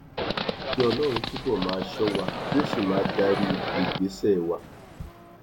kí ọlọrun túbọ máa ṣọ wa kí ó sì máa darí ìgbésẹ wa